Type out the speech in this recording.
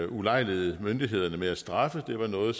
ulejligede myndighederne med at straffe det var noget